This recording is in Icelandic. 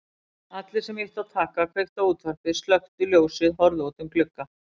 Allir sem ýttu á takka kveiktu á útvarpi slökktu ljósið horfðu út um glugga.